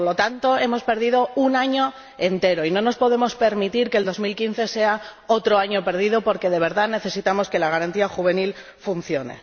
Por lo tanto, hemos perdido un año entero y no nos podemos permitir que 2015 sea otro año perdido, porque de verdad necesitamos que la Garantía Juvenil funcione.